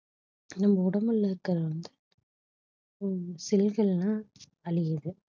நம்ம உடம்புல இருக்கிற வந்து ஹம் cell கள் எல்லாம் அழியுது